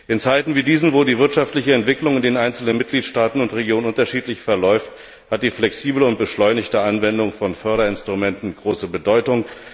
In Zeiten wie diesen, wo die wirtschaftliche Entwicklung in den einzelnen Mitgliedstaaten und Regionen unterschiedlich verläuft, hat die flexible und beschleunigte Anwendung von Förderinstrumenten große Bedeutung.